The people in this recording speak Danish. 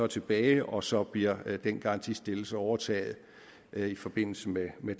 tilbage og så bliver den garantistillelse overtaget i forbindelse med med